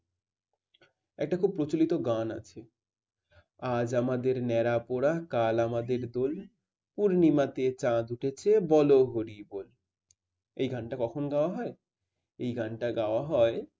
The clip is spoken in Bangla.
একটা খুব প্রচলিত গান আছে আজ আমাদের ন্যাড়া পোড়া কাল আমাদের দোল পূর্ণিমাতে চাঁদ উঠেছে বল হরি বল। এই গানটা কখন গাওয়া হয় এই গানটা গাওয়া হয়